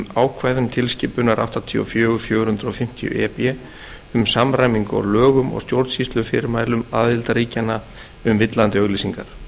ákvæðum tilskipunar áttatíu og fjögur fjögur hundruð fimmtíu e b um samræmingu á lögum og stjórnsýslufyrirmælum aðildarríkjanna um villandi auglýsingar